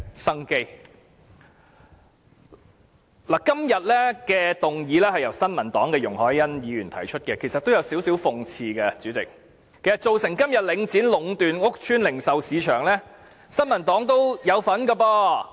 代理主席，今天的議案是由新民黨的容海恩議員提出，其實這也有點諷刺，因為新民黨也有份造成今天領展壟斷屋邨零售市場的局面。